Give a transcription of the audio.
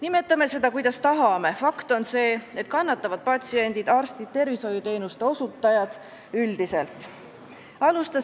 Nimetame seda, kuidas tahame, fakt on see, et kannatavad patsiendid ning arstid ja tervishoiuteenuste osutajad üldiselt.